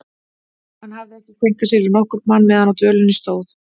Hann hafði ekki kveinkað sér við nokkurn mann meðan á dvölinni stóð.